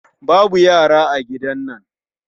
Babu yara a gidan nan